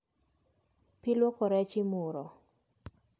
Pii luoko rech imuro